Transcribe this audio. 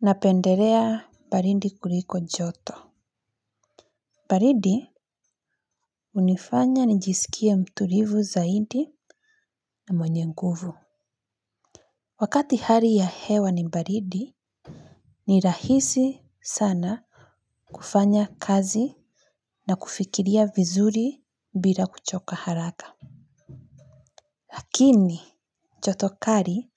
Napendelea baridi kuliko joto baridi hunifanya nijisikie mtulivu zaidi na mwenye nguvu. Wakati hali ya hewa ni baridi ni rahisi sana kufanya kazi na kufikiria vizuri bila kuchoka haraka lakini joto kali